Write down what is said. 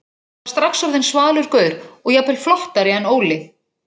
Ég var strax orðinn svalur gaur og jafnvel flottari en Óli.